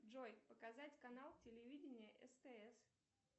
джой показать канал телевидения стс